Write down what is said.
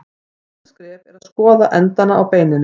Næsta skref er að skoða endana á beininu.